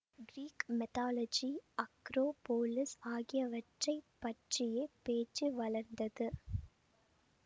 Greek mythology acropolis ஆகியவற்றை பற்றியே பேச்சு வளர்ந்தது